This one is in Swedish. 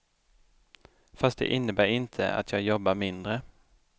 Fast det innebär inte att jag jobbar mindre.